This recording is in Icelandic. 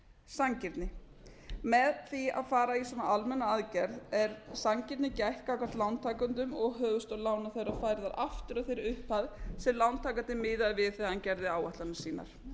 sanngirni með því að fara í svona almenna aðgerð er sanngirni gætt gagnvart lántakendum og höfuðstól lána þeirra færðar aftur að þeirri upphæð sem lántakandi miðaði við þegar hann gerði áætlanir sínar